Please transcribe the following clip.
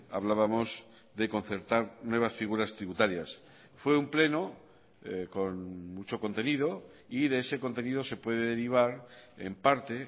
hablábamos de concertar nuevas figuras tributarias fue un pleno con mucho contenido y de ese contenido se puede derivar en parte